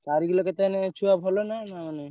ଚାରିକିଲ କେତେ ମାନେ ଛୁଆ ଭଲ ନାଁ?